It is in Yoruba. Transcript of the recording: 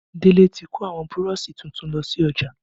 Délé tí kò àwọn Burọ̀ṣì tuntun lọ sí ọjà